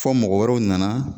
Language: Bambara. Fɔ mɔgɔ wɛrɛw nana